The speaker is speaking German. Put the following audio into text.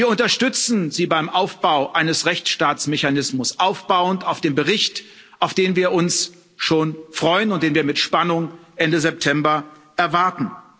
Wir unterstützen Sie beim Aufbau eines Rechtsstaatsmechanismus aufbauend auf dem Bericht, auf den wir uns schon freuen und den wir mit Spannung Ende September erwarten.